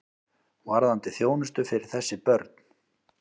Varðandi þjónustu fyrir þessi börn.